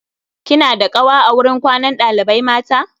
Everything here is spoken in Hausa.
kina da ƙawa a wurin kwanan ɗalibai mata?